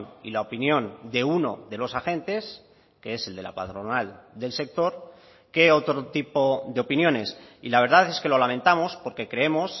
y la opinión de uno de los agentes que es el de la patronal del sector que otro tipo de opiniones y la verdad es que lo lamentamos porque creemos